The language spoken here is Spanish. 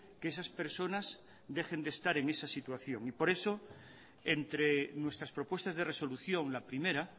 que esas personas dejen de estar en esa situación y por eso entre nuestras propuestas de resolución la primera